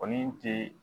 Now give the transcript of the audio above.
O ni ti